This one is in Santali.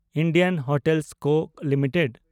ᱤᱱᱰᱤᱭᱟᱱ ᱦᱚᱴᱮᱞ ᱠᱚ ᱞᱤᱢᱤᱴᱮᱰ